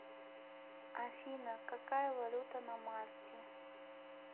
афина какая валюта на мальте